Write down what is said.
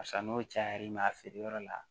Sa n'o cayar'i ma a feereyɔrɔ la